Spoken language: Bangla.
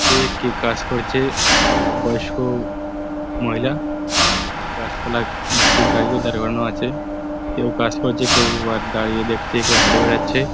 যে কেউ কাজ করছে বয়স্ক মহিলা গাছ পালা কিছু গাড়িও দাড়করানো আছে কেউ কাজ করছে কেউ দাঁড়িয়ে দেখছে কেউ হেটে বেড়াচ্ছে।